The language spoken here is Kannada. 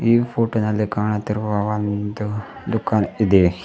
ಈ ಫೋಟೋ ನಲ್ಲಿ ಕಾಣುತ್ತಿರುವ ಒಂದು ದುಕಾನ್ ಇದೆ.